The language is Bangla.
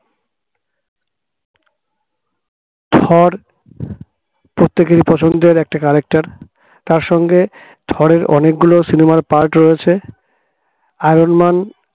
থর প্রত্যেকের পছন্দের একটা character তার সঙ্গে থরের অনেকগুলো cinema র part রয়েছে iron man